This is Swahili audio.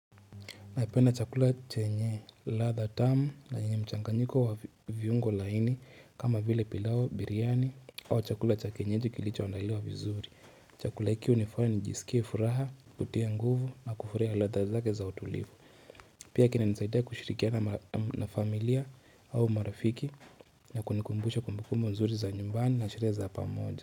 Napenda chakula chenye radha tamu na yenye mchanganyiko wa viungo laini kama vile pilau biriani au chakula cha kienyeji kilicho adaliwa vizuri. Chakula hiki hunifanya nijisikie furaha, kutia nguvu na kufurahia radha zake za utulivu. Pia kina nisaidia kushirikiana na familia au marafiki na kunikumbusha kumbuku nzuri za nyumbani na zile za pamoja.